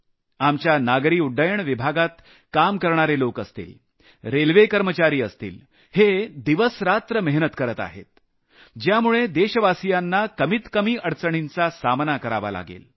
आपल्या नागरी उड्डाण विभागात काम करणारे लोक असतील रेल्वे कर्मचारी असतील हे दिवसरात्र मेहनत करत आहेत ज्यामुळे देशवासियांना कमीत कमी अडचणींचा सामना करावा लागेल